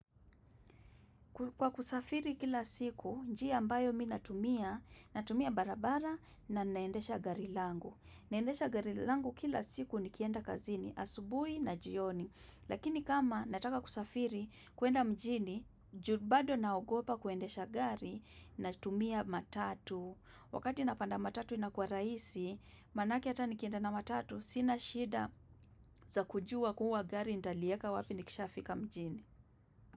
Kwa kusafiri kila siku, njia ambayo mimi natumia, natumia barabara na ninaendesha gari langu. Naendesha gari langu kila siku nikienda kazini, asubuhi na jioni. Lakini kama nataka kusafiri, kwenda mjini, ju bado naogopa kuendesha gari, natumia matatu. Wakati napanda matatu inakuwa raisi, manake hata nikienda na matatu, sina shida za kujua kuwa gari nitalieka wapi nikishafika mjini.